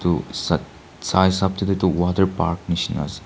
uo sa sa hisap de tu etu water park nishena ase.